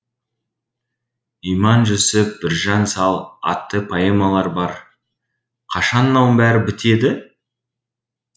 иманжүсіп біржан сал атты поэмалары бар қашан мынауын бәрі бітеді